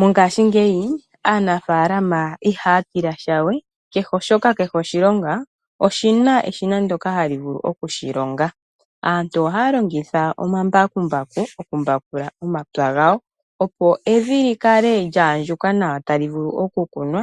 Mongaashingeyi aanafaalama ihaya tila sha we oshoka kehe oshilonga oshina eshina ndoka hali vulu oku shi longa. Aantu ohaya longitha omambakumbaku moku mbakula omapya gawo, opo evi lyi kale lya andjuka nawa tali vulu oku kunwa